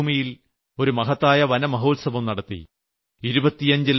രാജസ്ഥാനിലെ മരുഭൂമിയിൽ ഒരു മഹത്തായ വനമഹോത്സവം നടത്തി